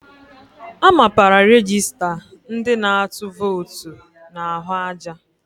A mapara rejista ndị na-atụ vootu n'ahụ aja.